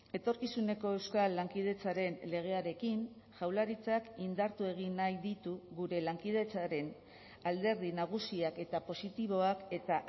etorkizuneko euskal lankidetzaren legearekin jaurlaritzak indartu egin nahi ditu gure lankidetzaren alderdi nagusiak eta positiboak eta